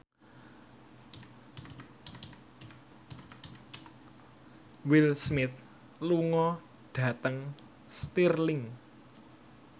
Will Smith lunga dhateng Stirling